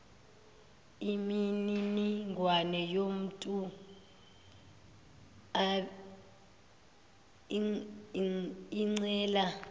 imininingwane yomuntu ocela